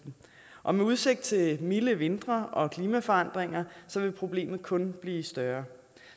og med udsigt til milde vintre og klimaforandringer vil problemet kun bliver større